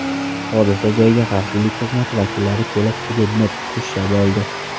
Hodisa joyiga xavfsizlik xizmati vakillari kelib, hududni qurshab oldi.